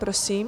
Prosím.